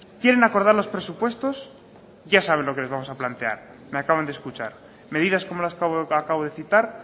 quieren acordar los presupuestos ya saben lo que les vamos a plantear me acaban de escuchar medidas como las que acabo de citar